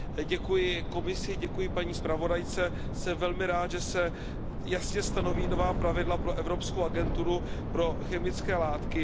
Děkuji Komisi, děkuji paní zpravodajce, jsem velmi rád, že se jasně stanoví nová pravidla pro Evropskou agenturu pro chemické látky.